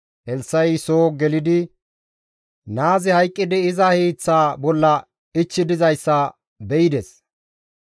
Elssa7i soo gelidi naazi hayqqidi iza hiiththa bolla ichchi dizayssa be7ides.